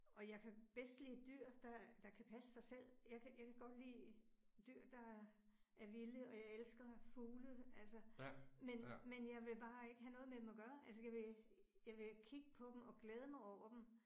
Og jeg kan bedst lide dyr, der der kan passe sig selv. Jeg kan jeg kan godt lide dyr, der er vilde, og jeg elsker fugle altså, men men jeg vil bare ikke have noget med dem at gøre. Altså jeg vil jeg vil kigge på dem og glæde mig over dem